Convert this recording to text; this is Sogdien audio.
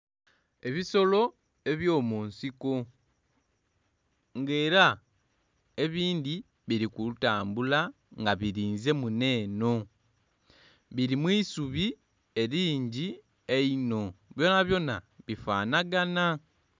Ebisolo ebyomunsiko nga era ebindhi biri kutambula nga birinze muno eno biri mu isubi eeingi einho byonabyona bifanhaganha.